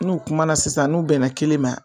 N'u kuma na sisan, n'u bɛnna kelen ma